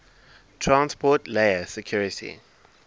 transport layer security